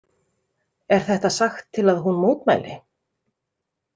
Er þetta sagt til að hún mótmæli?